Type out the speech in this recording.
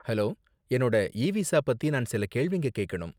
Hello, என்னோட e visa பத்தி நான் சில கேள்விங்க கேக்கணும்.